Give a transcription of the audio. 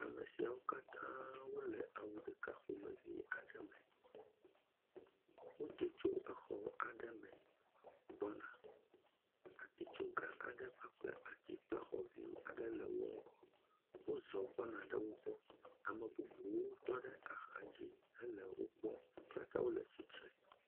Ame siawo katã wole awu ɖeka ƒomevi aɖe me, wodo tso exɔ ɖeka me gbɔna, atitsoga aɖe kpakple ati kple xɔ vi aɖe le wo ŋgɔ, wozɔ gbɔna wo gbɔ, ame bubuwo tɔ ɖe axa dzi henɔ wo kpɔm, wo katã wole tsitre.